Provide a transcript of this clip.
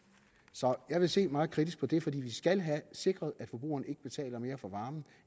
så jeg vil se meget kritisk på det fordi vi skal have sikret at forbrugerne ikke betaler mere for varmen